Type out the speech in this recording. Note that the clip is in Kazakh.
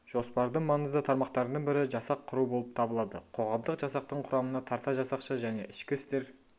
жоспардың маңызды тармақтарының бірі жасақ құру болып табылады қоғамдық жасақтың құрамына тарта жасақшы және ішкі істер